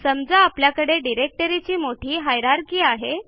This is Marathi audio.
समजा आपल्याकडे डिरेक्टरीची मोठी हायरार्की आहे